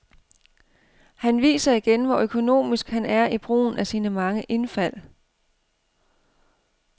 Han viser igen, hvor økonomisk han er i brugen af sine mange indfald.